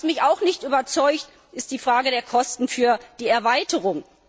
Was mich auch nicht überzeugt, ist die Frage der Kosten für die Erweiterung.